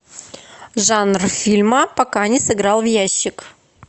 жанр фильма пока не сыграл в ящик